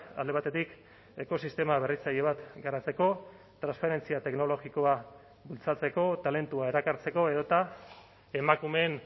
alde batetik ekosistema berritzaile bat garatzeko transferentzia teknologikoa bultzatzeko talentua erakartzeko edota emakumeen